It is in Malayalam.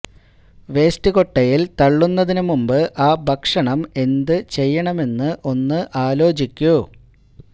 വേയ്സ്റ്റ് കൊട്ടയിൽ തള്ളുന്നതിന് മുമ്പ് ആ ഭക്ഷണം എന്ത് ചെയ്യണമെന്ന് ഒന്ന് ആലോചിക്കൂ